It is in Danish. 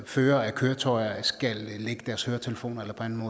førere af køretøjer skal lægge deres høretelefoner eller på anden